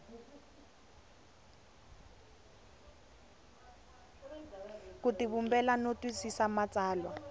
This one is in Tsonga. ku tivumbela no twisisa matsalwa